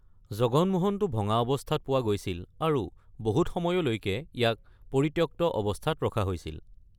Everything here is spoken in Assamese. জগন মোহনটো ভঙা অৱস্থাত পোৱা গৈছিল আৰু বহুত সময়লৈকে ইয়াক পৰিত্যক্ত অৱস্থাত ৰখা হৈছিল।